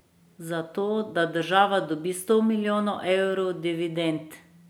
Zato, da država dobi sto milijonov evrov dividend?